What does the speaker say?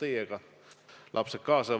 Aga las see jääb.